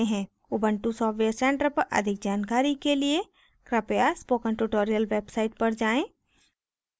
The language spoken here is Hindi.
ubuntu सॉफ्टवेयर centre पर अधिक जानकारी के लिए कृपया spoken tutorial website पर जाएँ